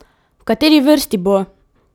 V kateri vrsti bo?